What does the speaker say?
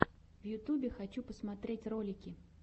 в ютюбе хочу посмотреть ролики